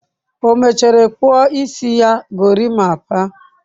O mechara kpuo isi ya gorimapa?